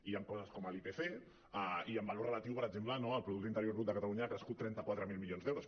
i hi han coses com l’ipc i en valor relatiu per exemple no el producte interior brut de catalunya ha crescut trenta quatre mil milions d’euros